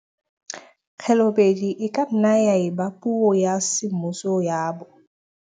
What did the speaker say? Khelobedu e ka nna ya eba puo ya semmuso ya bo